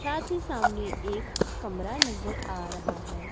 साथ ही सामने एक कमरा नजर आ रहा है।